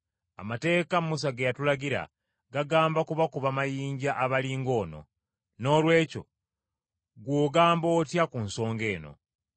Amateeka Musa ge yatulagira gagamba kubakuba mayinja abali ng’ono. Noolwekyo ggwe ogamba otya ku nsonga eyo?”